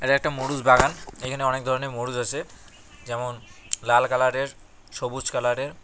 এটা একটা মরুচ বাগান এখানে অনেক ধরনের মরুচ আছে যেমন লাল কালারের সবুজ কালারে।